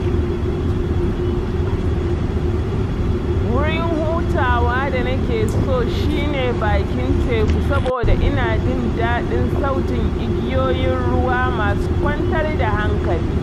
Wurin hutawa da nake so shi ne bakin teku saboda ina jin daɗin sautin igiyoyin ruwa masu kwantar da hankali.